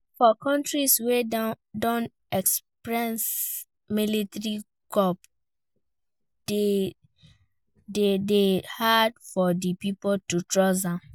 For countries wey don experience military coup de dey hard for di pipo to trust dem